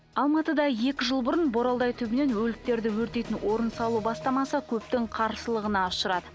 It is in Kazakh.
алматыда екі жыл бұрын боралдай түбінен өліктерді өртейтін орын салу бастамасы көптің қарсылығына ұшырады